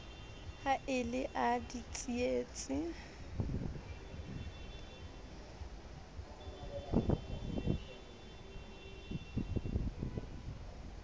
ha e le a ditsietsi